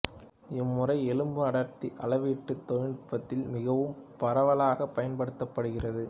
இம்முறை எலும்பு அடர்த்தி அளவீட்டுத் தொழிநுட்பத்தில் மிகவும் பரவலாகப் பயன்படுத்தப்படுகிறது